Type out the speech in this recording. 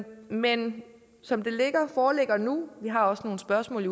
men som det foreligger nu vi har også nogle spørgsmål